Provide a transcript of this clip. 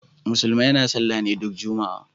Musulmai na sallah ne duk juma'a.